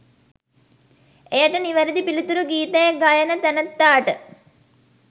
එයට නිවැරැදි පිළිතුරු ගීතය ගයන තැනැත්තාට